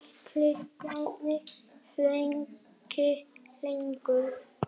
Ætli Bjarni þrauki lengur?